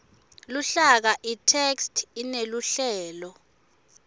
luhlaka itheksthi ineluhlelo